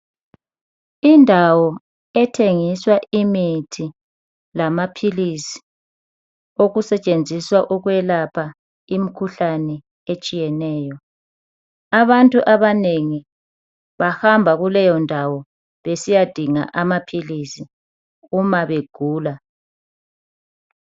Indawo ethengiswa imithi lamaphilisi ,okusetshenziswa ukwelapha imikhuhlane etshiyeneyo. Abantu abanengi bahamba kuleyo ndawo besiyadinga amaphilisi uma begula.